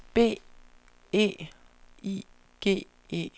B E I G E